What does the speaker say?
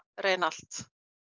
reyna allt